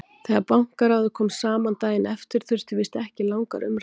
Þegar Bankaráðið kom saman daginn eftir þurfti víst ekki langar umræður.